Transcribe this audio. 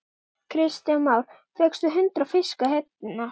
Kristján Már: Fékkstu hundrað fiska hérna?